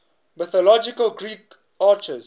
mythological greek archers